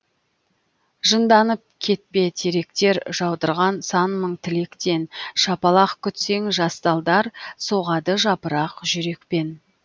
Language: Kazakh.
жынданып кетпе теректер жаудырған сан мың тілектен шапалақ күтсең жас талдар соғады жапырақ жүрекпен